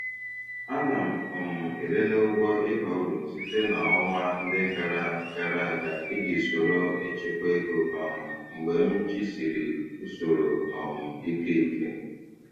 Ana m um elele ụgwọ ịba uru site na ọnwa ndị gara gara aga iji soro echekwa ego um mgbe m jisịrị usoro um ike ike.